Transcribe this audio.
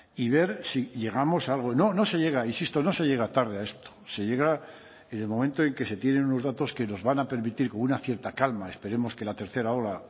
y ver si llegamos a algo no no se llega insisto no se llega tarde a esto se llega en el momento en que se tienen unos datos que nos van a permitir con una cierta calma esperemos que la tercera ola